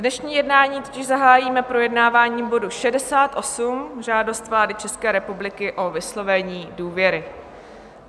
Dnešní jednání totiž zahájíme projednáváním bodu 68, Žádost vlády České republiky o vyslovení důvěry.